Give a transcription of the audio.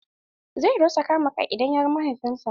Zai rasa kama kai idan ya ga mahaifin sa.